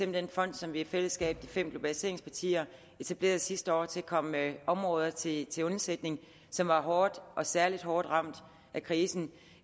den fond som vi i fællesskab de fem globaliseringspartier etablerede sidste år til at komme områder til til undsætning som var hårdt og særlig hårdt ramt af krisen